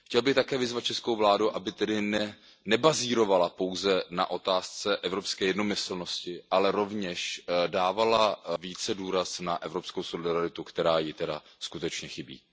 Chtěl bych také vyzvat českou vládu, aby tedy nebazírovala pouze na otázce evropské jednomyslnosti, ale rovněž dávala více důraz na evropskou solidaritu, která jí tedy skutečně chybí.